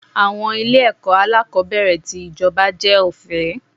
Àwọn ilé ẹ̀kọ́ alákòbẹ̀rẹ̀ tì ijoba jẹ́ ọ̀fẹ́.